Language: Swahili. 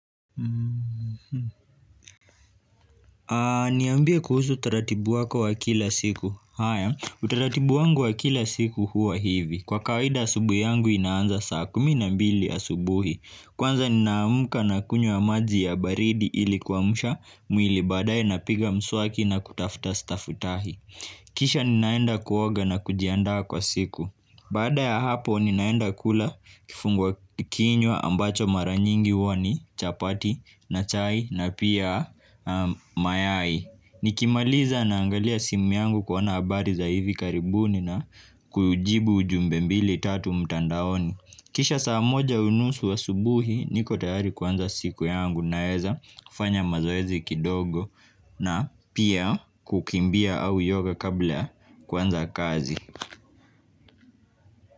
Haa niambia kuhusu utaratibu wako wa kila siku haya utaratibu wangu wa kila siku huwa hivi kwa kawaida asubuhi yangu inaanza saa kumi na mbili asubuhi kwanza ninaamuka nakunywa maji ya baridi ilikuamsha mwili baadae napiga mswaki na kutafuta stafutahi kisha ninaenda kuoga na kujiandaa kwa siku baada ya hapo ninaenda kula kifungwa kinywa ambacho mara nyingi huwa ni chapati na chai na pia mayai nikimaliza naangalia simu yangu kuona habari za hivi karibuni na kujibu ujumbe mbili tatu mtandaoni kisha saa moja unusu asubuhi niko tayari kuwanza siku yangu naeza kufanya mazoezi kidogo na pia kukimbia au yoga kabla kuanza kazi.